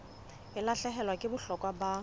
e lahlehelwa ke bohlokwa ba